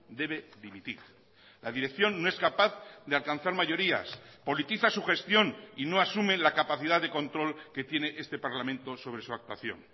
debe dimitir la dirección no es capaz de alcanzar mayorías politiza su gestión y no asume la capacidad de control que tiene este parlamento sobre su actuación